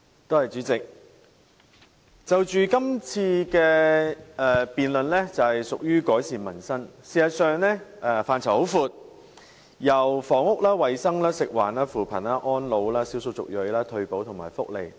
代理主席，這項辯論環節的主題是"改善民生"，事實上涉及非常廣闊的範疇，涵蓋房屋、衞生、食物及環境、扶貧、安老、少數族裔、退休保障和福利等。